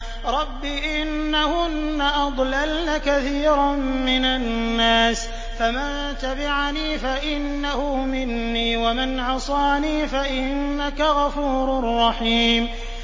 رَبِّ إِنَّهُنَّ أَضْلَلْنَ كَثِيرًا مِّنَ النَّاسِ ۖ فَمَن تَبِعَنِي فَإِنَّهُ مِنِّي ۖ وَمَنْ عَصَانِي فَإِنَّكَ غَفُورٌ رَّحِيمٌ